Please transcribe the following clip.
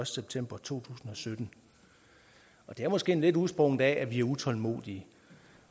september to tusind og sytten det er måske lidt udsprunget af at vi er utålmodige